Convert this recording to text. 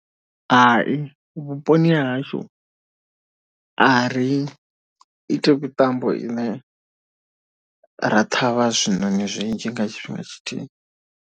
Hai vhuponi ha hashu a ri iti mitambo ine ra thavha zwiṋoni zwinzhi nga tshifhinga tshithihi.